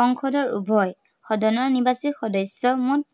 সংসদৰ উভয় সদনৰ নিৰ্বাচিত সদস্য়ৰ